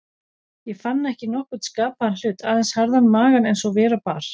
Ég fann ekki nokkurn skapaðan hlut, aðeins harðan magann eins og vera bar.